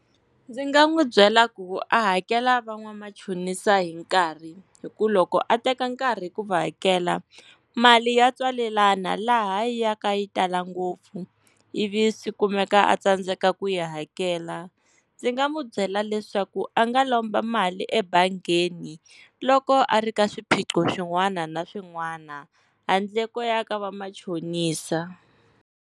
Ndzi nga n'wi byela ku a hakela van'wamachonisa hi nkarhi, hi ku loko a teka nkarhi ku va hakela mali ya tswalelana laha yi ya ka yi tala ngopfu ivi swi kumeka a tsandzeka ku yi hakela. Ndzi nga n'wi byela leswaku a nga lomba mali ebangini loko a ri ka swiphiqo swin'wana na swin'wana handle ko ya ka va machonisa.